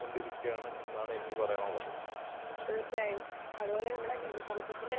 കൊണ്ടിരിക്കുകയാണ് എന്നാണ് എനിക്ക് പറയാനുള്ളത്.